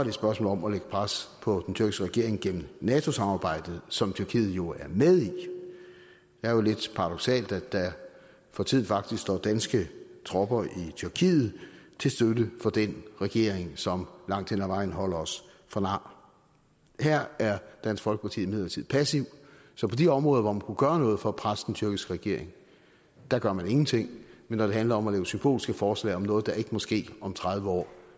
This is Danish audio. et spørgsmål om at lægge pres på den tyrkiske regering gennem nato samarbejdet som tyrkiet jo er med i det er lidt paradoksalt at der for tiden faktisk står danske tropper i tyrkiet til støtte for den regering som langt hen ad vejen holder os for nar her er dansk folkeparti imidlertid passiv så på de områder hvor man kunne gøre noget for at presse den tyrkiske regering gør man ingenting men når det handler om at lave symbolske forslag om noget der ikke må ske om tredive år